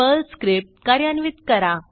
Perl script कार्यान्वित करा